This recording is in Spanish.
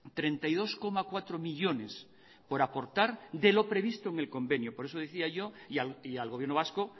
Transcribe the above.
treinta y dos coma cuatro millónes por aportar de lo previsto en el convenio por eso decía yo y al gobierno vasco